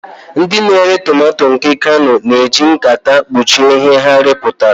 Ndị na-ere tomato nke kano na-eji nkata kpuchie ihe ha rụpụtara.